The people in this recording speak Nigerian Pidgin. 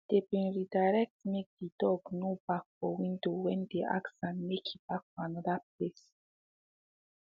they been redirectmake the dog no bark for window when they ask am make he bark for another place